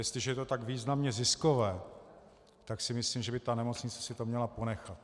Jestliže je to tak významně ziskové, tak si myslím, že by ta nemocnice si to měla ponechat.